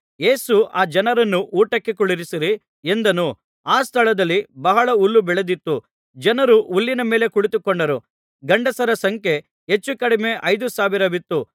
ಯೇಸು ಆ ಜನರನ್ನು ಊಟಕ್ಕೆ ಕುಳ್ಳಿರಿಸಿರಿ ಎಂದನು ಆ ಸ್ಥಳದಲ್ಲಿ ಬಹಳ ಹುಲ್ಲು ಬೆಳೆದಿತ್ತು ಜನರು ಹುಲ್ಲಿನ ಮೇಲೆ ಕುಳಿತುಕೊಂಡರು ಗಂಡಸರ ಸಂಖ್ಯೆ ಹೆಚ್ಚುಕಡಿಮೆ ಐದು ಸಾವಿರವಿತ್ತು